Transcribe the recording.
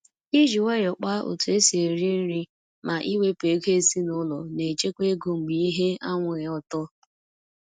iji nwayọ kpa etu esi eri nri ma iwepu ego ezinaụlọ na echekwa ego mgbe ihe anwụghị ọtọ.